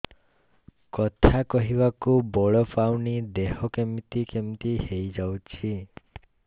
କଥା କହିବାକୁ ବଳ ପାଉନି ଦେହ କେମିତି କେମିତି ହେଇଯାଉଛି